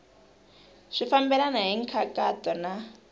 swi fambelena hi nkhaqato na